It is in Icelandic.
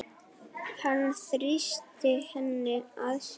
Hann þrýsti henni að sér.